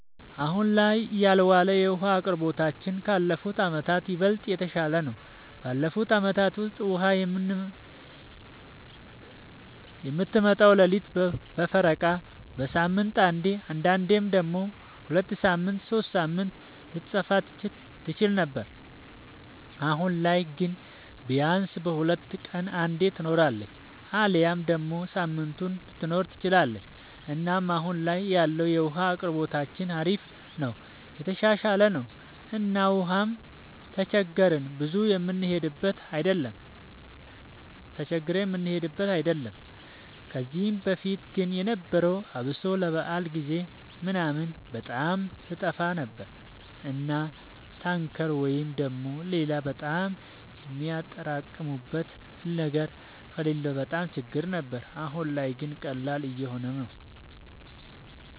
አሁን ላይ ያለወለ የዉሀ አቅርቦታችን ካለፉት አመታት ይበልጥ የተሻለ ነው። ባለፉት አመታት ውስጥ ውሃ የምትመጣው ሌሊት በፈረቃ፣ በሳምንት አንዴ አንዳንዴም ደግሞ ሁለት ሳምንት ሶስት ሳምንት ልትጠፋ ትችል ነበር። አሁን ላይ ግን ቢያንስ በሁለት ቀን አንዴ ትኖራለች አሊያም ደግሞ ሳምንቱንም ልትኖር ትችላለች እና አሁን ላይ ያለው የውሃ አቅርቦታችን አሪፍ ነው የተሻሻለ ነው እና ውሃም ተቸግረን ብዙ የምንሄድበት አይደለም። ከዚህ በፊት ግን የነበረው አብሶ ለበዓል ጊዜ ምናምን በጣም ትጠፋ ነበር እና ታንከር ወይ ደግሞ ሌላ በጣም የሚያጠራቅሙበት ነገር ከሌለ በጣም ችግር ነበር። አሁን ላይ ግን ቀላል እየሆነ ነው።